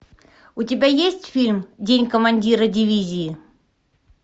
у тебя есть фильм день командира дивизии